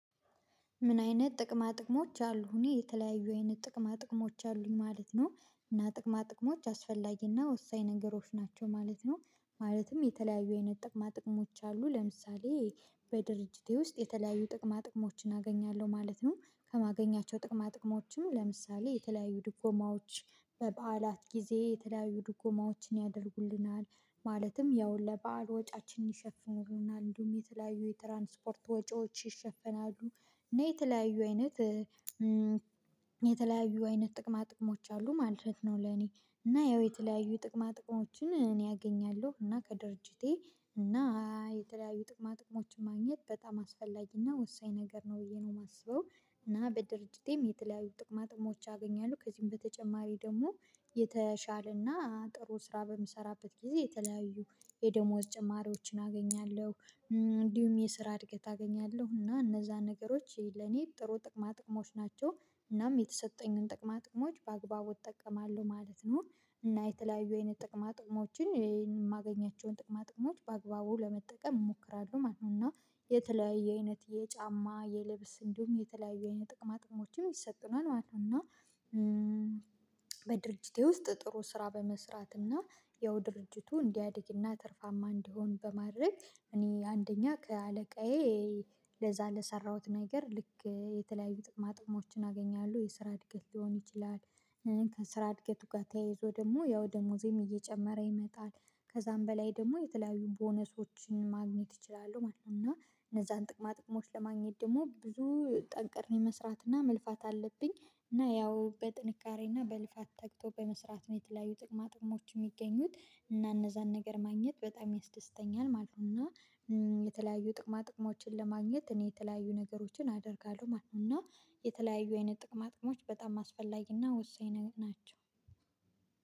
ምን አይነት ጥቅማ ጥቅሞች አሉ እኔ የተለያዩ አይነት ጥቅማ ጥቅሞች አሉኝ ማለት ነው። እና ጥቅማ ጥቅሞች አስፈላጊና ወሳኝ ነገሮች ናቸው ማለት ነው። ማለትም የተለያዩ አይነት ጥቅማ ጥቅሞች አሉ ለምሳሌ በድርጅቴ ውስጥ የተለያዩ ጥቅማ ጥቅሞችን አገኛለሁ ማለት ነው። ከማገኛቸው ጥቅማ ጥቅሞችም ለምሳሌ የተለያዩ ድጎማዎች በበዓላት ጊዜ የተለያዩ ድጎማዎችን ያደርጉልናል ማለትም ያው ለባዕል ወጪያችን ይሸፍኑናል እንዲሁም የተለያዩ የትራንስፖርት ወጪዎች ይሸፍናሉ። እና የተለያዩ አይነት የተለያዩ አይነት ጥቅማ ጥቅሞች አሉ ማለት ነው። ለኔ እና ያው የተለያዩ ጥቅማ ጥቅሞችን እኔ አገኛለሁ እና ከድርጅቴ እና የተለያዩ ጥቅማ ጥቅሞችን ማግኘት በጣም አስፈላጊና ወሳኝ ነገር ነው ብዬ ነው የማስበው። እና በድርጅቴም የተለያዩ ጥቅማ ጥቅሞች አገኛለሁ ከዚህም በተጨማሪ ደግሞ የተሻለና ጥሩ ስራ በምሰራበት ጊዜ የተለያዩ የደሞዝ ጭማሪዎችን አገኛለሁ። እንዲሁም የስራ እድገት አገኛለሁ እና እነዛ ነገሮች ለኔ ጥሩ ጥቅማ ጥቅሞች ናቸው። እናም የተሰጠኝን ጥቅማ ጥቅሞች በአግባቡ እጠቀማለሁ ማለት ነው። እና የተለያዩ አይነት ጥቅማ ጥቅሞችን የማገኛቸውን ጥቅማ ጥቅሞች በአግባቡ ለመጠቀም እሞክራለሁ ማለት ነው። እና የተለያዩ አይነት የጫማ የልብስ እንዲሁም የተለያዩ አይነት ጥቅማ ጥቅሞችም ይሰጡናል ማለት ነው። እና በድርጅቴ ውስጥ ጥሩ ስራ በመስራት እና ያው ድርጅቱ እንዲያድግና ትርፋማ እንዲሆን በማድረግ እኔ አንደኛ ከአለቃዬ ለዛ ለሰራሁት ነገር ልክ የተለያዩ ጥቅማ ጥቅሞችን አገኛለሁ የስራ እድገት ሊሆን ይችላል። ከስራ እድገት ጋር ተያይዞ ደግሞ ያው ደሞዜም እየጨመረ ይመጣል። ከዛም በላይ ደግሞ የተለያዩ ቦነሶችን ማግኘት እችላለሁ ማለት ነው። እና እነዛን ጥቅማ ጥቅሞች ለማግኘት ደግሞ ብዙ ጠንቅሬ መስራት እና መልፋት አለብኝ። እና ያው በጥንካሬና በልፋት ተግቶ በመስራት የተለያዩ ጥቅማ ጥቅሞች የሚገኙት እና እነዛን ነገር ማግኘት በጣም ያስደስተኛል ማለት ነው። እና የተለያዩ ጥቅማ ጥቅሞችን ለማግኘት እኔ የተለያዩ ነገሮችን አደርጋለሁ ማለት ነው። እና የተለያዩ አይነት ጥቅም አጥቅሞች በጣም አስፈላጊና ወሳኝ ናቸው።